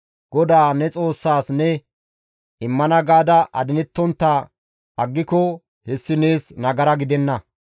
GODAA ne Xoossaas ne immana gaada adinettontta aggiko hessi nees nagara gidenna.